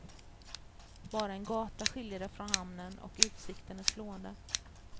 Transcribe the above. Bara en gata skiljer det från hamnen, och utsikten är slående.